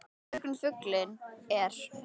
Í björgum fuglinn er.